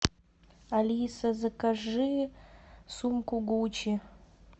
алиса закажи сумку гуччи